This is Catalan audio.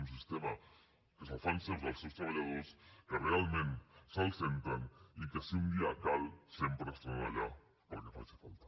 un sistema que se’l fan seu els seus treballadors que realment se’l senten i que si un dia cal sempre estaran allà per al que faci falta